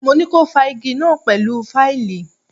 Mo ní ko fá igí náà pẹ̀lú fáìlì!